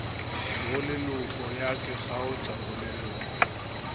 boleloko ya ke kgaotša boleloko